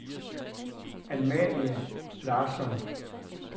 Amalie Larsson